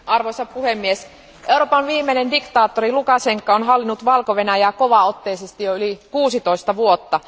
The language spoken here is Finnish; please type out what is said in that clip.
Arvoisa puhemies, Euroopan viimeinen diktaattori Lukašenka on hallinnut Valko Venäjää kovaotteisesti jo yli 16 vuotta.